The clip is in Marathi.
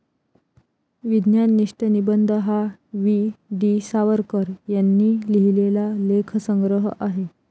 विज्ञाननिष्ठ निबंध हा वी.डी. सावरकर यांनी लिहिलेला लेखसंग्रह आहे.